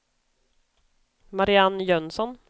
Marianne Jönsson